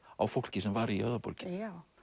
á fólki sem var í Höfðaborginni já